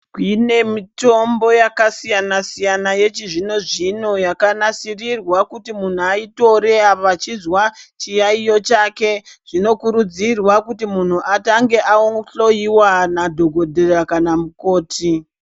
Kune mitombo yakasiyana siyana yechizvino zvino yakanasirirwa kuti munhu aitore apa achizwa chiyaiyo chake zvinokurudzirwa kuti munhu atange ahloiwa nedhogodheya kana mukoti.